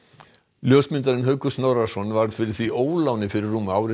ljósmyndarinn Haukur Snorrason varð fyrir því óláni fyrir rúmu ári